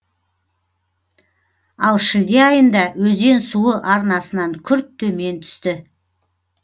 ал шілде айында өзен суы арнасынан күрт төмен түсті